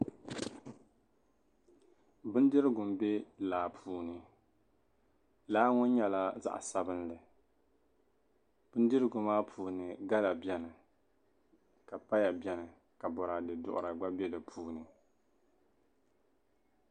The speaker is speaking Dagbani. bindirigu m-be laa puuni laa ŋɔ nyɛla zaɣ'sabinlli bindirigu maa puuni gala beni ka paya beni ka bɔraade duɣira gba be di puuni